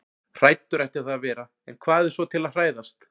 Hræddur ætti það að vera- en hvað er svo til að hræðast?